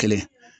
Kelen